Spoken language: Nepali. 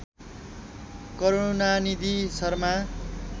करूणानिधि शर्मा